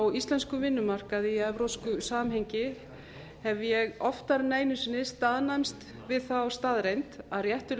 á íslenskum vinnumarkaði í evrópsku samhengi hef ég oftar en einu sinni staðnæmst við þá staðreynd að réttur